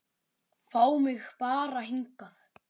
Fá mig bara hingað.